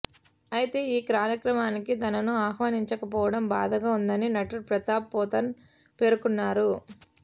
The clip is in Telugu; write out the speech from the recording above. అయితే ఈ కార్యక్రమానికి తనను ఆహ్వానించకపోవడం బాధగా ఉందని నటుడు ప్రతాప్ పోతన్ పేర్కొన్నారు